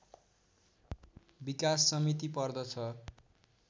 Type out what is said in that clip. विकास समिति पर्दछ